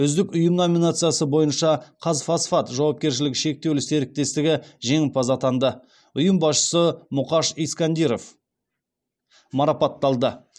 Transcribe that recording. үздік ұйым номинациясы бойынша қазфосфат жауапкешілігі шектеулі серіктестігі жеңімпаз атанды ұйым басшысы мұқаш искандиров марапатталды